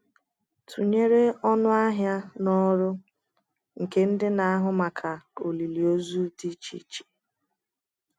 Tụnyere ọnụ ahịa na ọrụ nke ndị na-ahụ maka olili ozu dị iche iche.